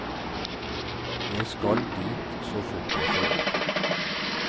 Jeg skal dit så fort jeg får råd.